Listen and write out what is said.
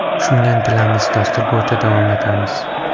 Shunga intilamiz, dastur bo‘yicha davom etamiz.